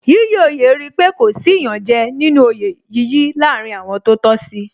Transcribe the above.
Yíyí oyè rí pé kò sí iyanje nínú oyè yíyí láàárín àwọn tó tọ́ sí